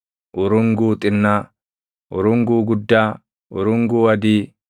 urunguu xinnaa, urunguu guddaa, urunguu adii,